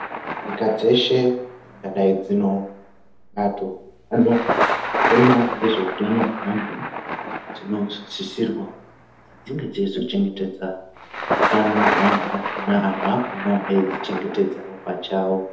Nyika dzeshe dzingadai dzino bato dzinoona ngezveutano hweantu. Dzinosisirwa kuti dzinge dzeizochengetedza utano hweantu akona antu akonavo edzichengetedzavo pachavo.